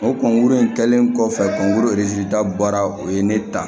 O kɔnkuru in kɛlen kɔfɛ k'u bolo da baara o ye ne ta